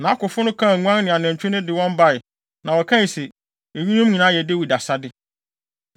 Nʼakofo no kaa nguan ne anantwi no de wɔn bae. Na wɔkae se, “Eyinom nyinaa yɛ Dawid asade.”